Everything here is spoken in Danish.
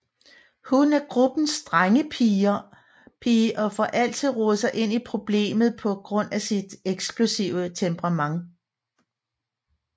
Hun er gruppens drengepige og får altid rodet sig ind i problemet på grund af sit eksplosive temperament